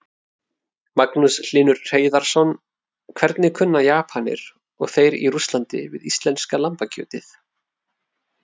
Magnús Hlynur Hreiðarsson: Hvernig kunna Japanir og þeir í Rússlandi við íslenska lambakjötið?